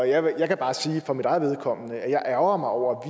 jeg kan bare for mit eget vedkommende sige at jeg ærgrer mig over